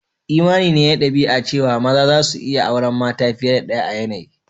Imani ne na dabi'a cewa maza suna iyi auren mata fiye da daya a yanayi.